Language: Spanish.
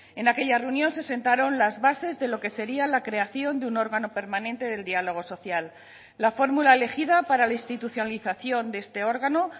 en aquella reunión se sentaron las bases de lo que sería la creación de un órgano permanente del diálogo social la fórmula elegida para la institucionalización de este órgano